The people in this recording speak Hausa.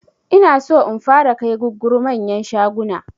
Inaso in fara kai gugguru manyan shaguna